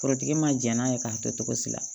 Forotigi m'a jɛn n'a ye k'a kɛ cogo si la